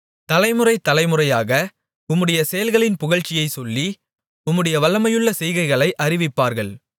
தலைமுறை தலைமுறையாக உம்முடைய செயல்களின் புகழ்ச்சியைச் சொல்லி உம்முடைய வல்லமையுள்ள செய்கைகளை அறிவிப்பார்கள்